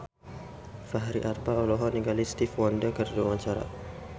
Fachri Albar olohok ningali Stevie Wonder keur diwawancara